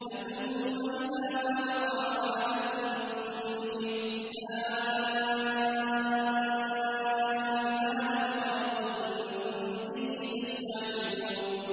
أَثُمَّ إِذَا مَا وَقَعَ آمَنتُم بِهِ ۚ آلْآنَ وَقَدْ كُنتُم بِهِ تَسْتَعْجِلُونَ